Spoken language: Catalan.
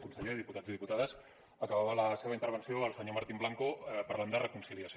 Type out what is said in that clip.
conseller diputats i diputades acabava la seva intervenció el senyor martín blanco parlant de reconciliació